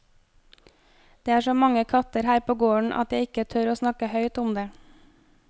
Det er så mange katter her på gården at jeg ikke tør å snakke høyt om det.